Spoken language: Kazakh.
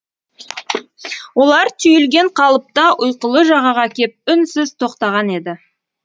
олар түйілген қалыпта ұйқылы жағаға кеп үнсіз тоқтаған еді